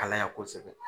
Kalaya kosɛbɛ